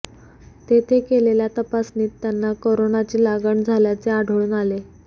तेथे केलेल्या तपासणीत त्यांना कोरोनाची लागण झाल्याचे आढळून आले